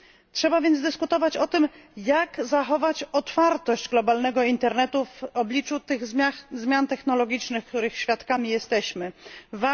Trzeba więc dyskutować o tym, jak zachować otwartość globalnego internetu w obliczu tych zmian technologicznych, których jesteśmy świadkami.